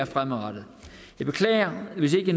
fremadrettet jeg beklager hvis ikke